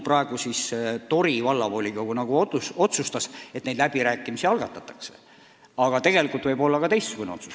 Tori Vallavolikogu otsustas, et need läbirääkimised algatatakse, aga tegelikult võinuks teha ka teistsuguse otsuse.